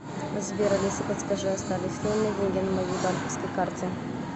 сбер алиса подскажи остались ли у меня деньги на моей банковской карте